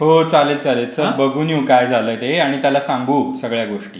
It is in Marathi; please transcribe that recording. हो, चालेल. चल बघून येऊ काय झालंय ते आणि त्याला सांगू सगळ्या गोष्टी.